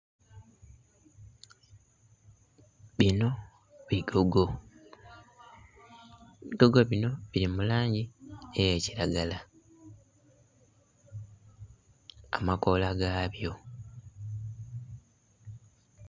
Bino bigogo, ebigogo bino bili mu langi eya kilagala, amakoola ga byo.